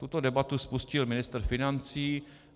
Tuto debatu spustil ministr financí.